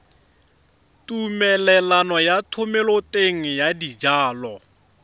tumelelo ya thomeloteng ya dijalo